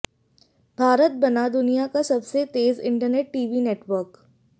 भारत बना दुनिया का सबसे तेज इंटरनेट टीवी नेटवर्क